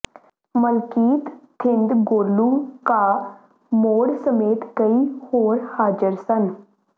ਮਲਕੀਤ ਥਿੰਦ ਗੋਲੂ ਕਾ ਮੋੜ ਸਮੇਤ ਕਈ ਹੋਰ ਹਾਜਰ ਸਨ